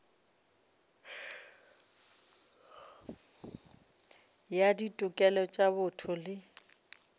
ya ditokelo tša botho le